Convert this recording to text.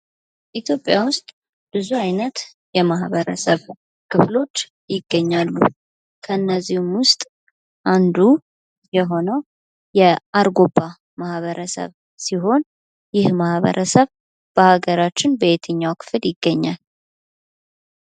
ኢትዮጵያ ውስጥ ብዙ አይነት የማህበረሰብ ክፍሎች ይገኛሉ። ከነዚህም ውስጥ አንዱ የሆነው የአርጎባ ማህበረሰብ ሲሆን ይህ ማህበረሰብ በሀገራችን በየትኛው ክፍል ይገኛል?